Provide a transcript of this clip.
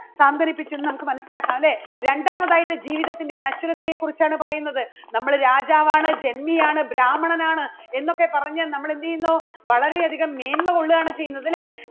സാന്ത്വനിപ്പിച്ചു എന്ന് നമുക്ക് മനസ്സിലാക്കാം. അല്ലേ? രണ്ടാമത് ആയിട്ട് ജീവിതത്തിൻറെ നശ്വരതയെ കുറിച്ചാണ് പറയുന്നത് നമ്മള് രാജാവാണ്, ജന്മിയാണ്, ബ്രാഹ്മണനാണ് എന്നൊക്കെ പറഞ്ഞ് നമ്മള് എന്ത് ചെയ്യുന്നു വളരെ അധികം മേന്മ കൊള്ളുകയാണ് ചെയ്യുന്നത് അല്ലേ?